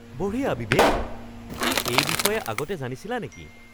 বঢ়িয়া বিবেক! তুমি এই বিষয়ে আগতে জানিছিলা নেকি?